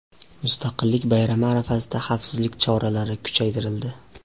Mustaqillik bayrami arafasida xavfsizlik choralari kuchaytirildi .